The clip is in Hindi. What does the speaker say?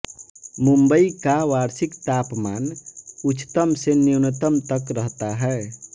मुंबई का वार्षिक तापमान उच्चतम से न्यूनतम तक रहता है